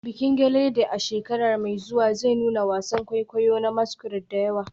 Bikin gelede a shekara mai zuwa zai nuna wasan kwaikwayo na masquerade da yawa.